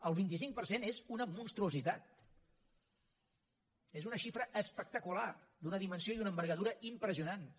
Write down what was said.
el vint cinc per cent és una monstruositat és una xifra espectacular d’una dimensió i d’una envergadura impressionants